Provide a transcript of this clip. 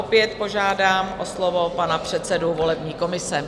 Opět požádám o slovo panu předsedu volební komise.